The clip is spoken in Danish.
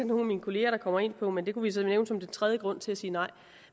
nogle af mine kollegaer der kommer ind på men det kunne vi så nævne som den tredje grund til at sige nej